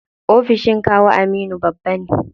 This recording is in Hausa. Ofishin kawu Aminu babba ne.